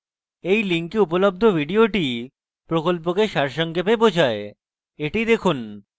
এই link উপলব্ধ video প্রকল্পকে সারসংক্ষেপে বোঝায় the দেখুন